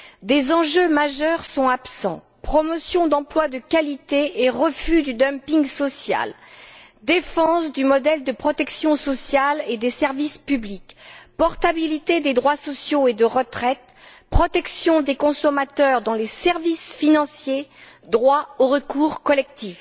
Des enjeux majeurs sont absents promotion d'emplois de qualité et refus du dumping social, défense du modèle de protection sociale et des services publics, portabilité des droits sociaux et de retraite, protection des consommateurs dans les services financiers, droit au recours collectif.